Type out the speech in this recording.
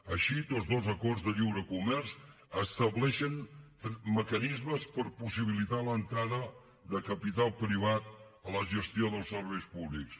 així tots dos acords de lliure comerç estableixen mecanismes per possibilitar l’entrada de capital privat a la gestió dels serveis públics